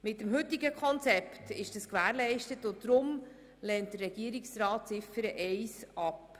Mit dem heutigen Konzept ist das gewährleistet, und deshalb lehnt der Regierungsrat Ziffer 1 ab.